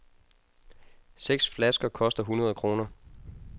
Seks flasker koster hundrede kroner.